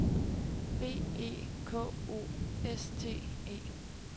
B E K O S T E